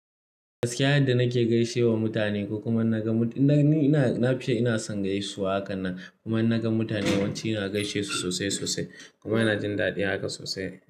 Gaskiya yadda nake gaishewa mutane ko kuma in na ga mu-- ina, na fi son ina son gaisuwa hakan nan. Kuma in na ga mutane yawanci ina gaishe su sosai sosai. Kuma ina jin daɗi haka sosai.